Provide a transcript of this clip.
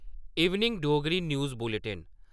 evening Dogri news bulletin